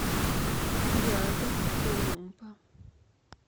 рядом клумба